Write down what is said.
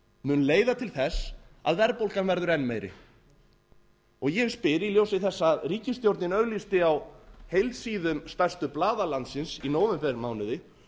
mun leiða til þess að verðbólgan verður enn meiri og ég spyr í ljósi þess að ríkisstjórnin auglýsti á heilsíðum stærstu blaða landsins í nóvembermánuði